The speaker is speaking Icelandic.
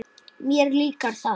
Mér líkar það.